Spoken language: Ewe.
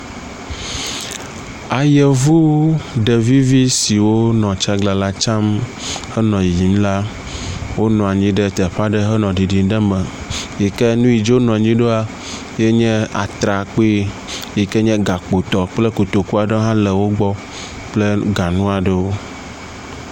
Ayevu ɖevi vi siwo wonɔ tsaglalatsam henɔ yiyim la, wonɔ anyi ɖe teƒe aɖe henɔ ɖiɖim ɖe me yike nuike dzi wonɔ anyi ɖoa yenye Atrakpui yike nye gakpo tɔ kple kotoku hã le wogbɔ kple ganu aɖewo.